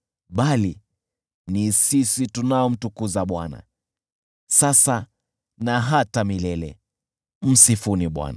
bali ni sisi tunaomtukuza Bwana , sasa na hata milele. Msifuni Bwana .